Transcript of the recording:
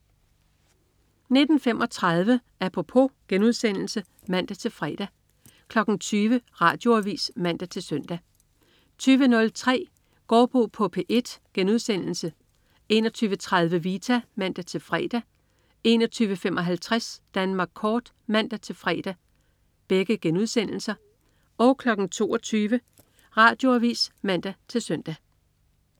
19.35 Apropos* (man-fre) 20.00 Radioavis (man-søn) 20.03 Gaardbo på P1* 21.30 Vita* (man-fre) 21.55 Danmark kort* (man-fre) 22.00 Radioavis (man-søn)